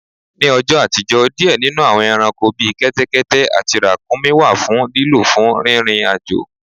Nì ọjò̩ àtijọ́, diẹ̀ nínù àwọń ẹranko bí kẹ́tẹ́kẹ́tẹ́ àtí ràkuńmí wà fun lílò fún rírin ajo